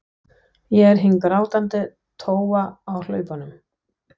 Ég er hin grátandi tófa á hlaupunum.